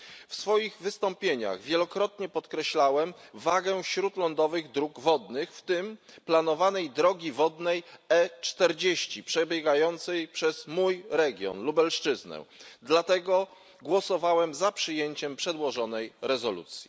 W swoich wystąpieniach wielokrotnie podkreślałem wagę śródlądowych dróg wodnych, w tym planowanej drogi wodnej E40 przebiegającej przez mój region, Lubelszczyznę. Dlatego głosowałem za przyjęciem przedłożonej rezolucji.